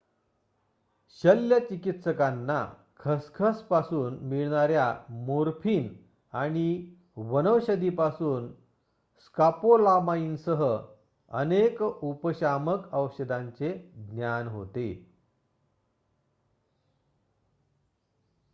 शल्यचिकित्सकांना खसखस पासून मिळणाऱ्या मोर्फिन आणि वनौषधी पासून स्कॉपोलामाईनसह अनेक उपशामक औषधांचे ज्ञान होते